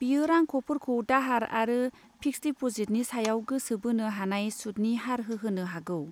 बेयो रांख'फोरखौ दाहार आरो फिक्स्ड डिप'जिटनि सायाव गोसो बोनो हानाय सुदनि हार होहोनो हागौ।